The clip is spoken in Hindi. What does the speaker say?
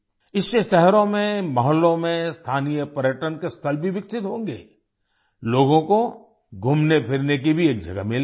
इससे शहरों में मोहल्लों में स्थानीय पर्यटन के स्थल भी विकसित होंगे लोगों को घूमनेफिरने की भी एक जगह मिलेगी